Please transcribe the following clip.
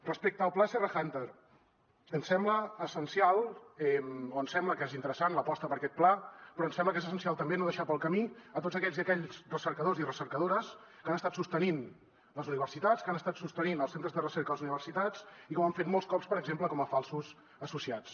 respecte al pla serra húnter ens sembla essencial o ens sembla que és interessant l’aposta per aquest pla però ens sembla que és essencial també no deixar pel camí tots aquells i aquelles recercadors i recercadores que han estat sostenint les universitats que han estat sostenint els centres de recerca de les universitats i que ho han fet molts cops per exemple com a falsos associats